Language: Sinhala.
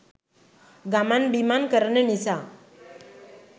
ගමන් බිමන් කරන නිසා.